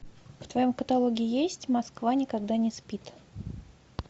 в твоем каталоге есть москва никогда не спит